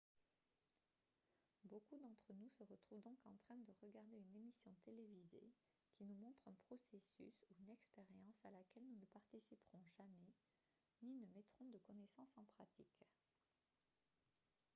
beaucoup d'entre nous se retrouvent donc en train de regarder une émission télévisée qui nous montre un processus ou une expérience à laquelle nous ne participerons jamais ni ne mettrons de connaissances en pratique